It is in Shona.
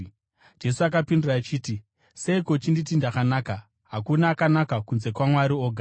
Jesu akapindura achiti, “Seiko uchinditi ndakanaka? Hakuna akanaka kunze kwaMwari oga.